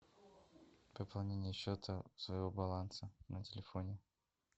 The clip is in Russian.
пополнение счета своего баланса на телефоне